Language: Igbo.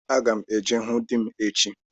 Aga m eje hụ Din echi